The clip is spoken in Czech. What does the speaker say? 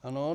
Ano.